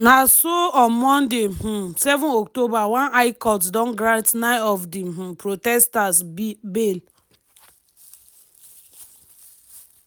na so on monday um 7 october one high court don grant 9 of di um protesters bail.